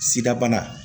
Sida bana